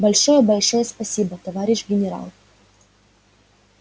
большое большое спасибо товарищ генерал